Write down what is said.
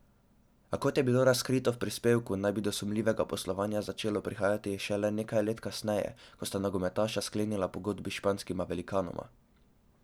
A kot je bilo razkrito v prispevku, naj bi do sumljivega poslovanja začelo prihajati šele nekaj let kasneje, ko sta nogometaša sklenila pogodbi s španskima velikanoma.